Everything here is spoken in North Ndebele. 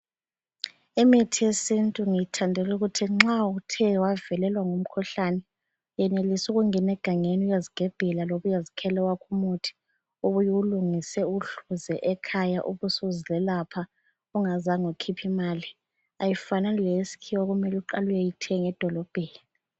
Imithi yesintu ngiyithandela ukuthi nxa uthe wavelelwa ngumkhuhlane uyenelisa ukungena egangeni uyezigebhela loba uyezikhela owakho umuthi ,ubuye uwulungise uwuhluze ekhaya ube usuzelapha ungazange ukhuphe imali, ayifani leyesikhiwa okumele uyeyithenga edolobheni